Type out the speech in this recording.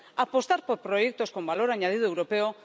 apostar por proyectos con valor añadido europeo